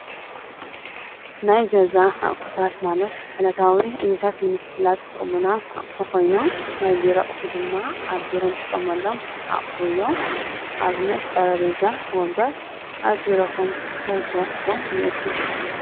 ናይ ገዛ ኣቁሑታት ማለት ዕለታዊ ዕዮታት ንምስላጥ ዝጠቅሙና ኣቁሑ ኮይኖም ናይ ቢሮ ኣቁሑ ድማ ኣብ ቢሮ እንጥቀመሎም ኣቁሑ እዮም። ኣብነት ጤረጴዛ ፣ ወንበር ኣብ ቢሮኩም እንታይ እንታይ ኣቁሑ እንይኤኩም?